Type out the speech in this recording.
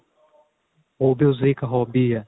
ਉਹ ਵੀ ਉਸ ਦੀ ਇੱਕ hobby ਏ